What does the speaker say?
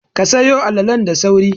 Ka sayo alalalen da sauri!